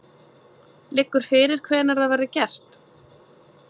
Liggur fyrir hvenær það verður gert?